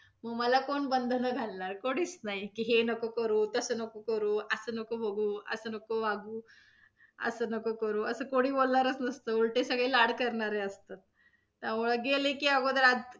मग मला कोण बंधनं घालणार कोणीच नाही की, हे नको करू, तसं नको करू, असं नको बघू, असं नको वागू, असं नको करू, असं कोणी बोलणारच नसतं. उलटे सगळे लाड करणारे असतात, त्यामुळे गेले की अगोदर आधी,